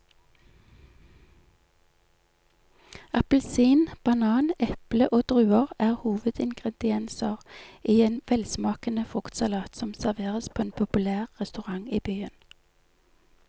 Appelsin, banan, eple og druer er hovedingredienser i en velsmakende fruktsalat som serveres på en populær restaurant i byen.